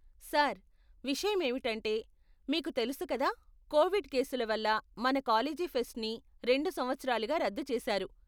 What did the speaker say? Sir, విషయం ఏమిటంటే, మీకు తెలుసు కదా కోవిడ్ కేసుల వల్ల మన కాలేజీ ఫెస్ట్ని రెండు సంవత్సరాలుగా రద్దు చేసారు.